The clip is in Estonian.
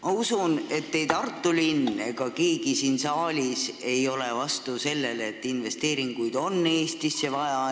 Ma usun, et ei Tartu linn ega keegi siin saalis ei ole vastu sellele, et investeeringuid on Eestisse vaja.